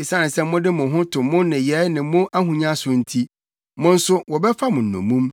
Esiane sɛ mode mo ho to mo nneyɛe ne mo ahonya so nti, mo nso wɔbɛfa mo nnommum,